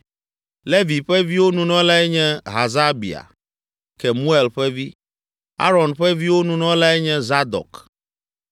Levi ƒe viwo Nunɔlae nye Hasabia, Kemuel ƒe vi; Aron ƒe viwo Nunɔlae nye Zadok;